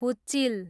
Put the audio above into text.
हुच्चिल